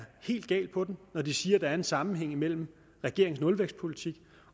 helt galt på den når de siger der er en sammenhæng mellem regeringens nulvækstpolitik